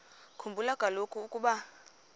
khumbula kaloku ukuba